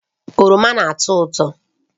Oroma na-atọ ụtọ